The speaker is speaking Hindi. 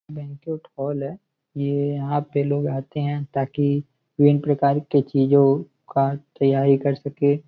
बैंक्वेट हॉल है। ये यहाँ पे लोग आते हैं ताकि विभिन्न प्रकार की चीजों का तैयारी कर सके।